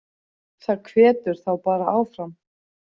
Það hvetur þá bara áfram.